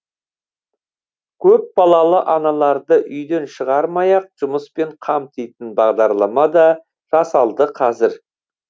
көп балалы аналарды үйден шығармай ақ жұмыспен қамтитын бағдарлама да жасалды қазір